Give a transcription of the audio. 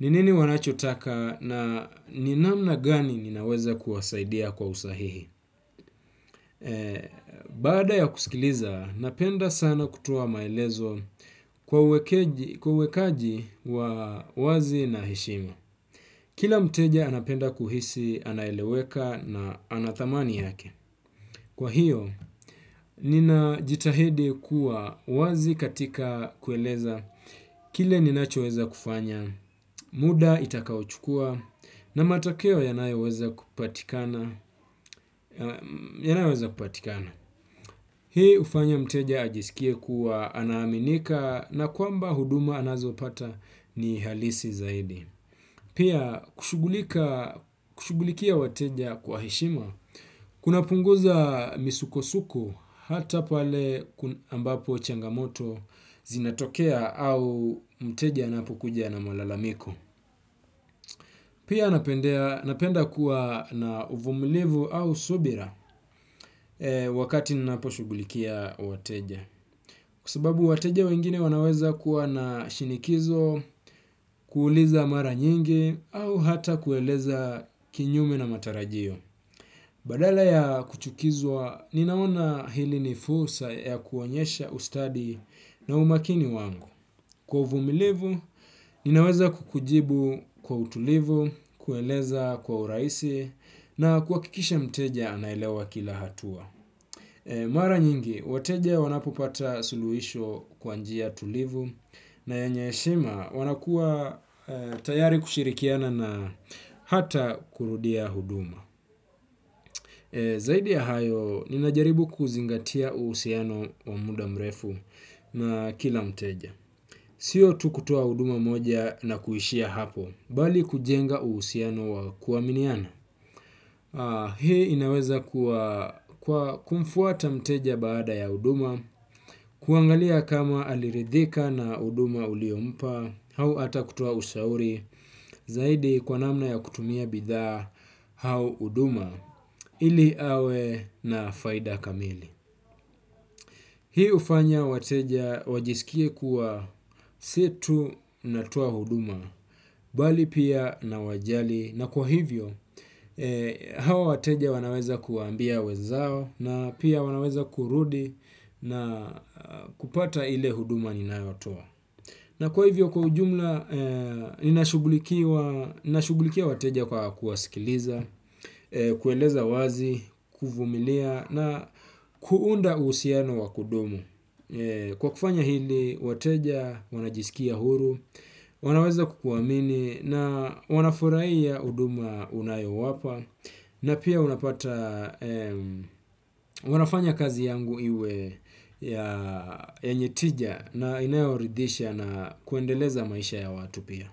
ni nini wanachotaka na ni namna gani ninaweza kuwasaidia kwa usahihi. Baada ya kusikiliza, napendda sana kutoa maelezo kwa uwekaji wa wazi na heshima. Kila mteja anapenda kuhisi anaeleweka na ana thamani yake. Kwa hiyo, ninajitahidi kuwa wazi katika kueleza kile ninachoweza kufanya, muda itakaochukua na matokeo yanayoweza kupatikana. Yanayoweza kupatikana hii hufanya mteja ajisikie kuwa anaaminika na kwamba huduma anazopata ni halisi zaidi. Pia kushughulikia wateja kwa heshima kunapunguza misukosuko hata pale ambapo changamoto zinatokea au mteja anapokuja na malalamiko. Pia napenda kuwa na uvumulivu au subira. Wakati ninaposhughulikia wateja kwa sababu wateja wengine wanaweza kuwa na shinikizo. Kuuliza mara nyingi au hata kueleza kinyume na matarajio badala ya kuchukizwa ninaona hili ni fursa ya kuonyesha ustadi na umakini wangu. Kwa uvumilivu ninaweza kukujibu kwa utulivu kueleza kwa urahisi na kuhakikisha mteja anaelewa kila hatua. Mara nyingi, wateja wanapopata suluhisho kwa njia tulivu na yenye heshima wanakuwa tayari kushirikiana na hata kurudia huduma. Zaidi ya hayo, ninajaribu kuzingatia uhusiano wa muda mrefu na kila mteja. Sio tu kutoa huduma moja na kuishia hapo, bali kujenga uhusiano wa kuaminiana. Hii inaweza kumfuata mteja baada ya huduma, kuangalia kama aliridhika na huduma uliompa, au hata kutoa ushauri, zaidi kwa namna ya kutumia bidhaa au huduma, ili awe na faida kamili. Hii hufanya wateja wajiskie kuwa si tu natoa huduma bali pia nawajali na kwa hivyo hawa wateja wanaweza kuambia wenzao na pia wanaweza kurudi na kupata ile huduma ninayotoa. Na kwa hivyo kwa ujumla, ninashughulikiwa shughulikia wateja kwa kuwasikiliza, kueleza wazi, kuvumilia na kuunda uhusiano wa kudumu. Kwa kufanya hili, wateja, wanajisikia huru, wanaweza kukuamini na wanafurahia huduma unayowapa na pia unapata wanafanya kazi yangu iwe ya yenye tija na inayoridhisha na kuendeleza maisha ya watu pia.